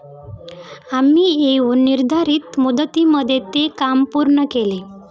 आम्ही येऊन निर्धारित मुदतीमध्ये ते काम पूर्ण केले.